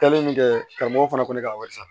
Kɛlen min kɛ karamɔgɔ fana ko ne ka wari sara